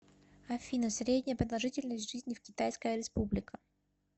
афина средняя продолжительность жизни в китайская республика